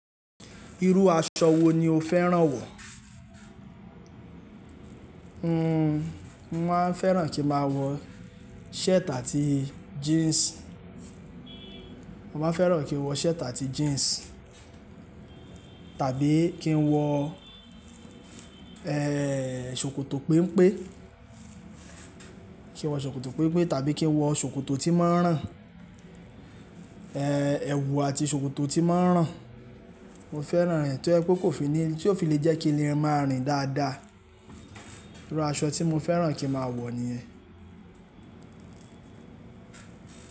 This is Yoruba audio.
Irú aṣọ wo ni o fẹ́ràn wọ̀? Mo máa ń fẹ́ràn kí n máa wọ shirt àti jeans. Mo maa fẹ́ràn kí n wọ shirt àti jeans tàbí kí n wọ eeh ṣòkòtò pempe. Kí n wọ ṣòkòtò pempe tàbí kí n wọ ṣòkòtò tí máa ń ràn. Ee ẹwù àti ṣòkòtò tí máa ń ràn. Mo fẹ́ràn rẹ̀ to je pé kò fi ní-- tí ó fi lè jẹ́ kí n le máa rìn dáadáa. Irú aṣọ tí mo fẹ́ràn kí n máa wọ̀ niyen.